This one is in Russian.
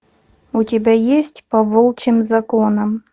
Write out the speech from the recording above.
у тебя есть по волчьим законам